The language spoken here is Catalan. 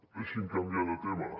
deixi’m canviar de tema